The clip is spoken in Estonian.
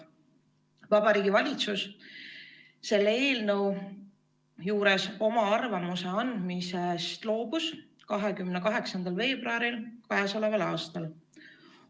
Vabariigi Valitsus otsustas k.a 28. veebruaril selle eelnõu kohta arvamuse andmisest loobuda.